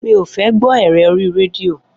Mi ó fẹ gbọ ẹrẹ ọri rẹdío